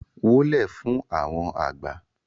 wólẹ̀ fún àwọn àgbà!